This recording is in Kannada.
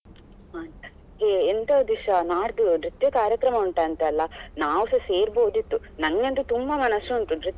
ಹ್ಮ್ ಏ ಎಂತ ದಿಶಾ ನಾಡ್ದು ನೃತ್ಯ ಕಾರ್ಯಕ್ರಮ ಉಂಟಂತೆ ಅಲ್ಲಾ ನಾವು ಸ ಸೇರ್ಬೋದಿತ್ತು ನನಗಂತು ತುಂಬಾ ಮನಸು ಉಂಟು ನೃತ್ಯ.